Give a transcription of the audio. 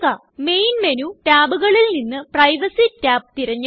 main menu tabകളിൽ നിന്ന് privacy tab തിരഞ്ഞെടുക്കുക